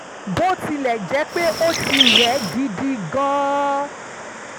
bó tilẹ̀ jẹ́ pé ó ti rẹ̀ ẹ́ gidi gan-an